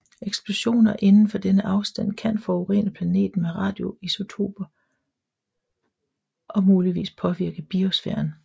Eksplosioner inden for denne afstand kan forurene planeten med radioisotoper og muligvis påvirke biosfæren